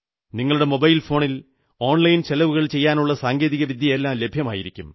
നിങ്ങളുടെ മൊബൈൽ ഫോണിൽ ഓൺലൈൻ ചെലവുകൾ ചെയ്യാനുള്ള സങ്കേതികവിദ്യയെല്ലാം ലഭ്യമായിരിക്കും